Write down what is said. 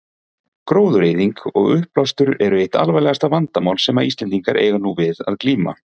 Gróðureyðing og uppblástur eru eitt alvarlegasta vandamál sem Íslendingar eiga nú við að glíma.